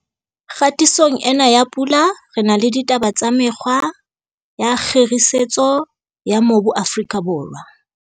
Kgatisong ena ya Pula re na le ditaba tsa mekgwa ya kgirisetso ya mobu Afrika Borwa.